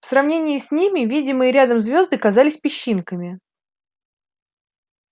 в сравнении с ними видимые рядом звёзды казались песчинками